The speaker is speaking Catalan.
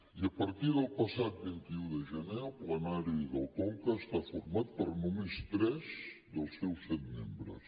i a partir del passat vint un de gener el plenari del conca està format per només tres dels seus set membres